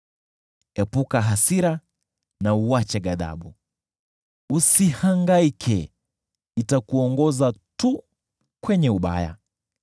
Epuka hasira na uache ghadhabu, usihangaike: itakuongoza tu kutenda uovu.